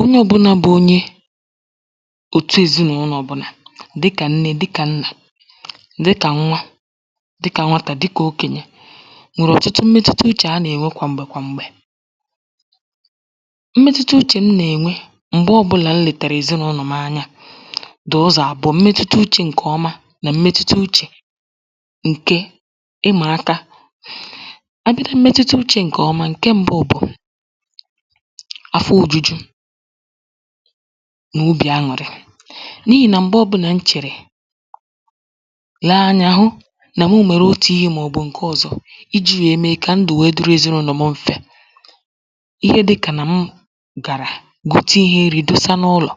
onye ọ̄bụ̄nà bụ onye òtu èzinụ̄lọ̀ ọbụ̄nà dịkà nne dịkà nnà dịkà nwa dịkà nwatà dịkà okènyè nwèrè ọ̀tụtụ mmetuta uchè a nà-ènwe kwa m̀gbè kwa m̀gbè mmetuta uchè m nà-ènwe m̀gbe ọbụ̄ià m lètàrà èzinụ̄lọ̀ m anya dị̀ ụzọ̀ àbụọ̄ mmetuta uchè ǹkè ọma nà mmetuta uchè ǹkè ịmà aka abịa na mmetuta uchē ǹkè ọma ǹke m̄bụ̄ bụ̀ afọ òjuju nà obì añụ̀rị n’ihì nà m̀gbe ọ̄bụ̄nà m chèrè lee anyā hụ nà m mèrè otù ihē màọ̀bụ̀ ǹke ọ̀zọ ijī nwèe mee kà ndụ̀ nwèe dịrị èzinụ̄lọ̀ m m̄fē ihe dị̄kà nà m gàrà gote ihe nrī dosa n’ụlọ̀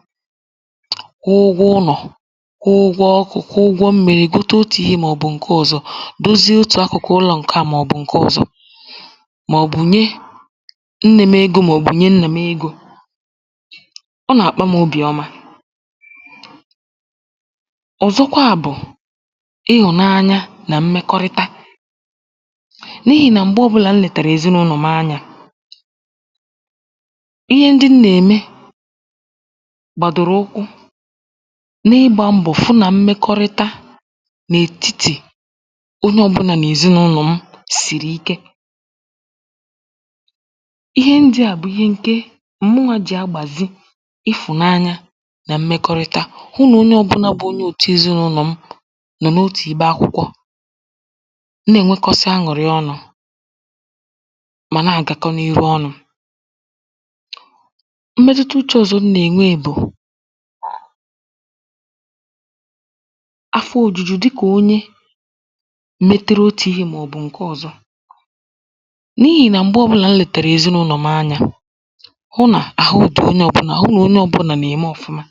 kwụọ ụgwọ ụnọ̀, kwụọ ụgwọ ọkụ̄, kwụọ ụgwọ mmīrī gote otù ihē màọ̀bụ̀ ǹke ọ̄zọ̄ dozie otù akụ̀kụ̀ ụlọ̄ ǹke à màọ̀bụ̀ ǹke ọ̄zọ̄ màọ̀bụ̀ nye nnē m̄ egō màọ̀bụ̀ nye nnà m egō ọ nà-akpa m̄ obì ọma ọ̀zọkwa bụ̀ ịhụ̀nanya nà mmekọrịta n’ihì nà m̀gbe ọ̄bụ̄là m lètàrà èzinụ̄lọ̀ m anyā ihe ndị m nà-ème gbàdòrò ụkwụ na-ịgbā mbọ̀ fụ nà mmekọrịta n’ètitì onye ọ̄bụ̄nà n’èziụ̄lọ̀ m sìrì ike ihe ndị à bụ ihe ǹke mụnwà jì agbàzi ịfụ̀nanya nà mmekọrịta hụ nà onye ọ̄bụ̄ǹa bụ onye òtu èzinụ̄lọ̀ m nọ̀ n’otù ibe akwụkwọ na-ènwekọsa añụ̀rị ọnụ̄ mà na-àgakọ n’iru ọnụ̄ mmetuta uchē ọ̀zọ m nà-ènwe bụ̀ afọ ōjūjū dịkà onye mētērē otù ihe màọ̀bụ̀ ǹke ọ̄zọ̄ n’ihì nà m̀gbe ọ̄bụ̄là m lètèrè èzinụ̄lọ̀ m anyā hụ nà àhụ dị̀ onye ọ̄bụ̄nà hụ nà onye ọ̄bụ̄nà nà-ème ọ̀fụmà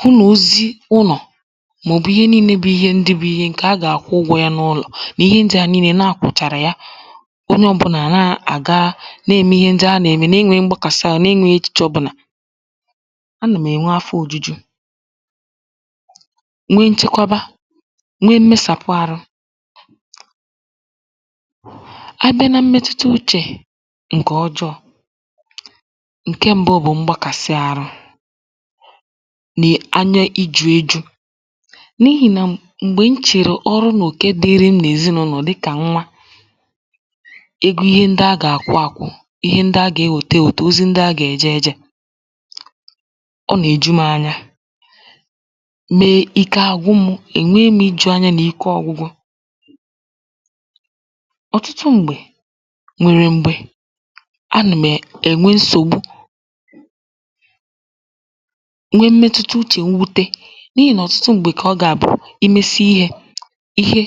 hụ nà ozi ụnọ̀ màọ̀bụ̀ ihe niīnē bụ ihe ndị bụ̄ ihe ǹkè a gà-àkwụ ụgwọ̄ yā n’ụlò nà ihe ndị à niīlē nà ha kwụ̀chàrà ya onye ọ̄bụ̄nà à nà-àga na-ème ihe ndị a nà-ème na-enwēghī mgbakàsị āhụ̄ na-enwēghī echìche ọ̄bụ̄nà anụ̀ m̀ ènwe afọ ōjūjū nwe nchekwaba nwe mmesàpụ ārụ̄ abịa na mmetuta uchè ǹkè ọjọ ǹke m̄bụ̄ bụ̀ mgbakàsị ārụ̄ nè anya ijū ējū n’ihì nà m̀gbè m chèrè ọrụ nà òke dị̄rị̄ m̄ n’èzinụ̄lọ̀ dịkà nwa ego ihe ndị a gà-àkwụ ākwụ̄ ihe ndị a ga-enwète ènwète ozi ndị a gà-èje ējē ọ nà-èju m̄ anya mee ike àgwụ m̄ ènwe m̄ ijū ānyā nà ike ọ̄gwụ̄gwụ̄ ọ̀tụtụ m̀gbè nwèrè m̀gbè anụ̀ m̀ è ènwe nsògbu nwe mmetuta uchè nwute n’ihì nà ọ̀tụtụ m̀gbè kà ọ gà-àbụ i mesie ihē ihe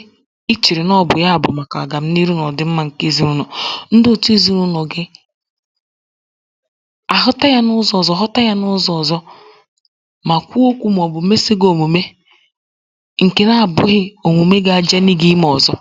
i chèrè nà ọ bụ̀ ya bụ̀ màkà ọ̀gam̀niru nà ọ̀dị̀mmā ǹke èzinụ̄lọ̀ ndị òtu èzinụ̄lọ̀ gị àhụta yā n’ụzọ̄ ọ̀zọ họta yā n’ụzọ̄ ọ̀zọ mà kwuo okwū màọ̀bụ̀ mesi gị̄ òmùme ǹkè na-abụ̄ghị̄ òmùme ga-ajani gị̄ imē ọ̀zọ